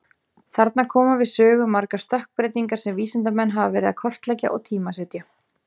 Þarna koma við sögu margar stökkbreytingar sem vísindamenn hafa verið að kortleggja og tímasetja.